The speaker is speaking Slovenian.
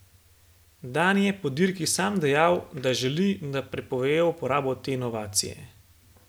Dani je po dirki sam dejal, da želi, da prepovejo uporabo te inovacije.